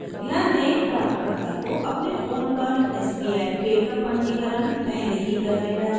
ध्यान दें प्राप्तकर्ता को अपने फ़ोन पर sbi pay का पंजीकरण पहले ही कर लेना चाहिए